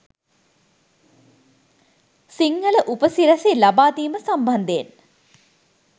සිංහල උපසිරැසි ලබාදීම සම්බන්ධයෙන්.